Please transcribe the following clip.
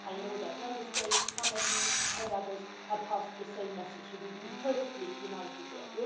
I know that Member States, some of you and others have passed on the same message, so we have been perfectly united there.